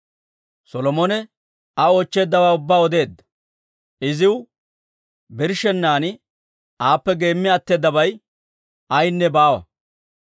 Solomone Aa oochcheeddawaa ubbaa odeedda; iziw birshshennan aappe geemmi atteedabay ayaynne baawa.